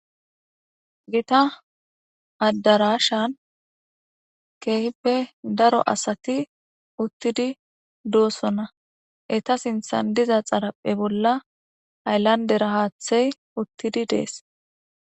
gita addarashan keehippe daro asati uttidi doossona eta sinthan diza xaraphe bolla hayllandera haathey uttidi dees